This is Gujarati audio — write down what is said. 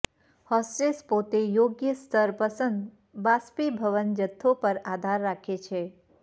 હોસ્ટેસ પોતે યોગ્ય સ્તર પસંદ બાષ્પીભવન જથ્થો પર આધાર રાખે છે